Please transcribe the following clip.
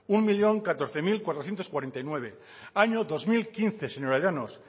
un millón catorce mil cuatrocientos cuarenta y nueve año dos mil quince señora llanos